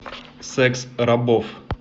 секс рабов